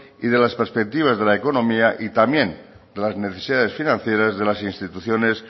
y de las perspectivas de la económica y también las necesidades financieras de las instituciones